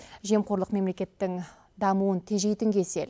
жемқорлық мемлекеттің дамуын тежейтін кесел